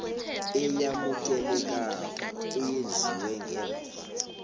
eyamukelekako eyenziwe ngemva